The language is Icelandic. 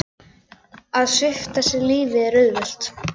Að svipta sig lífi er auðvelt.